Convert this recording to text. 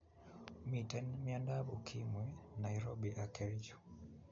Miten miandab ukimwi nairobi ak kercho